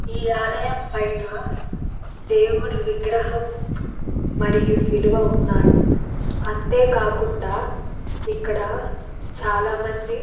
ఈ ఆలయం పైన దేవుని విగ్రహం మరియు శిలువ ఉన్నాయి. అంతే కాకుండా ఇక్కడ చాలా మంది --